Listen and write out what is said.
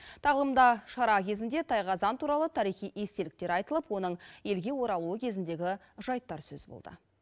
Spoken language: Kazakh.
тағылымда шара кезінде тайқазан туралы тарихи естеліктер айтылып оның елге оралуы кезіндегі жайттар сөз болды